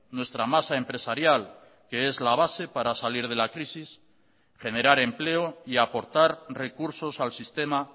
nuestra masa empresarial que es la base para salir de la crisis generar empleo y aportar recursos al sistema